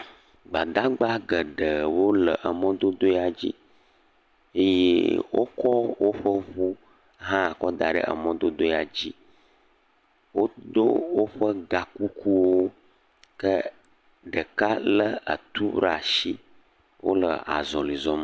Gbadagbda geɖewo le emɔdodo ya dzi eye wokɔ woƒe ŋu hã kɔ da ɖe emɔ dodo ya dzi wodo woƒe gakukuwo ke ɖeka lé etu ɖe asi, wole azɔli zɔm.